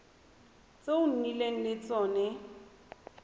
tse o nnileng le tsone